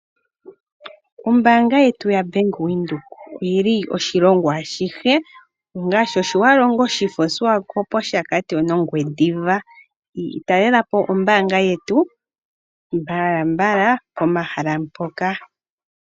Ombaanga yetu ya Bank Windhoek, oyili oshilongo ashihe ngaa Otjiwarongo, Oshifo, oSwakopmund, Oshakati nOngwediva. Talelapo ombaanga yetu mbalambala pomahala mpoka.